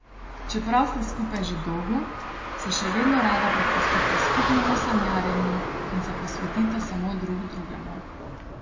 Čeprav sta skupaj že dolgo, se še vedno rada prepustita skupnemu sanjarjenju in se posvetita samo drug drugemu.